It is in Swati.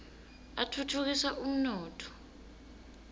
atfutfukisa umnotfo